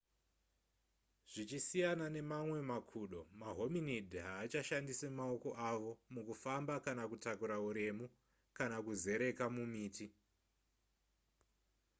zvichisiyana nemamwe makudo mahominid haachashandise maoko avo mukufamba kana kutakura uremu kana kuzereka mumiti